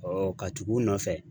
ka tugu u nɔfɛ.